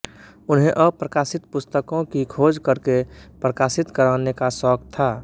उन्हें अप्रकाशित पुस्तकों की खोज करके प्रकाशित कराने का शौक था